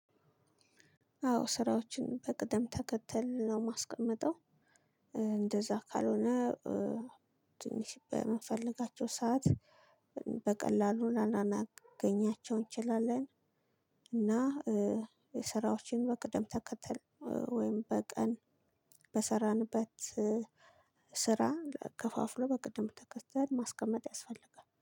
አዎ ስራዎችን በቅደም ተከተል ነው ማስቀመጠው እንደዛ ካልሆነ ትንሽ በምፈልጋቸው ሰዓት በቀላሉ ላላናገኛቸው እንችላለን። እና ስራዎችን በቅደም ተከተል ወይም በቀን በሰራንበት ስራ ከፋፍሎ በቅድም ተከተል ማስቀመጥ ያስፈልጋል